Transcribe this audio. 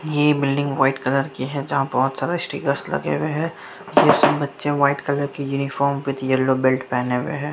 ये building white colour की है जहां बहुत सारे स्टीकर लगे हुए है जिसमे बच्चे व्हाइट कलर की यूनिफार्म विथ येलो बेल्ट पहने हुए है।